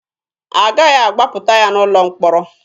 Agaghị agbapụta ya n'ụlọ mkpọrọ.